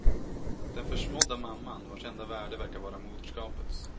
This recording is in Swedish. Den försmådda mamman, vars enda värde verkar vara moderskapets.